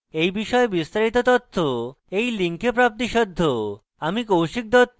এই বিষয়ে বিস্তারিত তথ্য এই link প্রাপ্তিসাধ্য